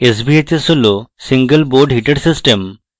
sbhs হল single board heater system